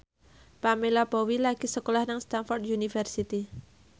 Pamela Bowie lagi sekolah nang Stamford University